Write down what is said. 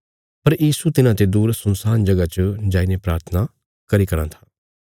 पर यीशु तिन्हाते दूर सुनसान जगह च जाईने प्राथना कराँ था